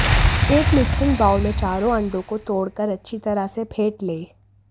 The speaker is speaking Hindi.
एक मिक्सिंग बाउल में चारों अंडों को तोड़कर अच्छी तरह से फेंट लें